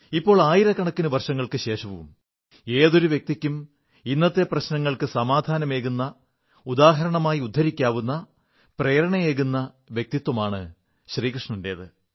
ഇപ്പോൾ ആയിരക്കണക്കിന് വർഷങ്ങൾക്കു ശേഷവും ഏതൊരു വ്യക്തിക്കും ഇന്നത്തെ പ്രശ്നങ്ങൾക്കു സമാധാനമേകുന്ന ഉദാഹരണമായി ഉദ്ധരിക്കാവുന്ന പ്രേരണയേകുന്ന വ്യക്തിത്വമാണു കൃഷ്ണന്റേത്